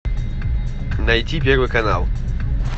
найти первый канал